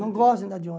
Não gosto de andar de